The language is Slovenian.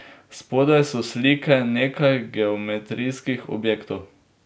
Spodaj so slike nekaj geometrijskih objektov.